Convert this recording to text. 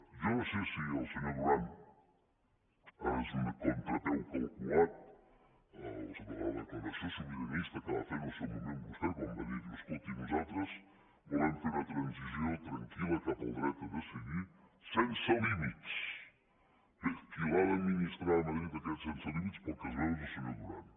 jo no sé si el senyor duran ha de ser un contrapeu calculat de la declaració sobiranista que va fer en el seu moment vostè quan va dir diu escolti nosaltres volem fer una transició tranquil·la cap al dret a decidir sense límitsl’ha d’administrar a madrid aquest sense límits pel que es veu és el senyor duran